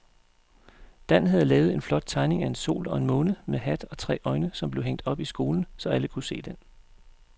Dan havde lavet en flot tegning af en sol og en måne med hat og tre øjne, som blev hængt op i skolen, så alle kunne se den.